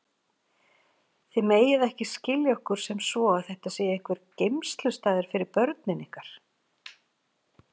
Þið megið ekki skilja okkur sem svo að þetta sé einhver geymslustaður fyrir börnin ykkar.